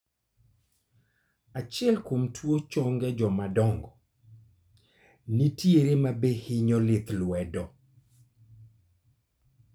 Achiel kuom tuo chong' e jomadongo, nitiere mabe hinyo lith lwedo